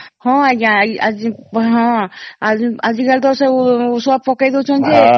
ହଁ ଆଂଜ୍ଞା ହଁ ଆଜି କାଲି ତ ସବୁ ଔଷଧ ପକେଇ ଦଉଛନ୍ତି ଯେ